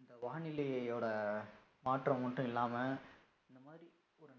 இந்த வானிலையோட மாற்றம் மட்டும் இல்லாம இந்த மாரி ஒரு